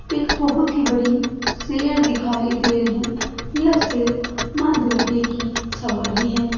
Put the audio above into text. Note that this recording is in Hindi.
एक बहुत ही बड़ी शेर दिखाई दे रहे ये शेर मां दुर्गे की सवारी है।